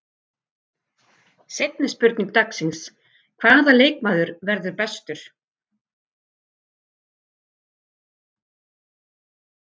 Seinni spurning dagsins: Hvaða leikmaður verður bestur?